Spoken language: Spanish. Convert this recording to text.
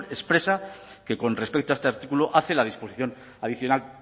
expresa que con respecto a este artículo hace la disposición adicional